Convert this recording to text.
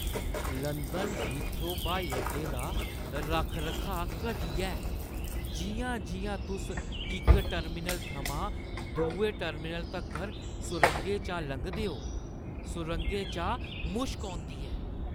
London Heathrow ब्हाई अड्डे दा रक्ख-रखाऽ घटिया ऐ। जिʼयां-जिʼयां तुस इक टर्मिनल थमां दुए टर्मिनल तक्कर सुरंगे चा लंघदे ओ, सुरंगें चा मुश्क औंदी ऐ ।